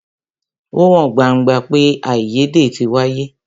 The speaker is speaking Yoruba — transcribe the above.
Ó hàn gbangba pé àìyédè tí wáyé.